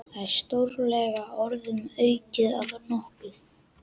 Það er stórlega orðum aukið að nokkuð.